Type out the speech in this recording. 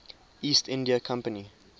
east india company